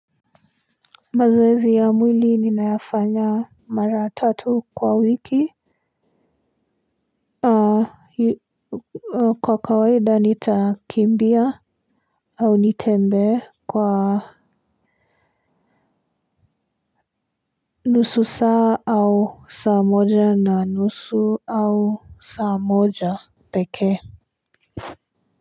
Mazoezi ya mwili ninayafanya mara tatu kwa wiki. Kwa kawaida nitakimbia au nitembee kwa nusu saa au saa moja na nusu au saa moja pekee.